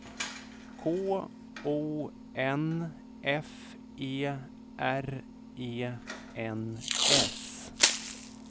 K O N F E R E N S